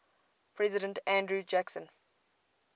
president andrew jackson